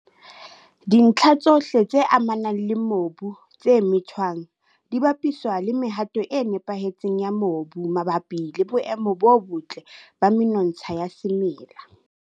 Dintlha tsohle tse amanang le mobu, tse methwang, di bapiswa le mehato e nepahetseng ya mobu mabapi le boemo bo botle ba menontsha ya semela.